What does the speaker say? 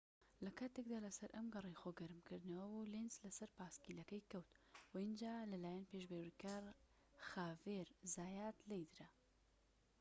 لە کاتێکدا لە سەر ئەم گەڕەی خۆ گەرم کردنەوە بوو لێنز لە سەر پایسکلەکەی کەوت و ئینجا لە لایەن پێشبڕکێکار خاڤیێر زایات لێیدرا